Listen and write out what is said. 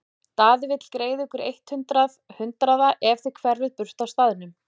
Daði vill greiða ykkur eitt hundrað hundraða ef þið hverfið burt af staðnum.